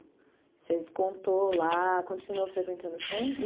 Você contou lá, continuou frequentando o centro?